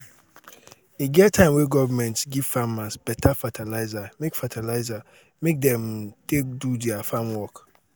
e get di time wey government give farmers beta fertilizer make fertilizer make dem take do their farm work.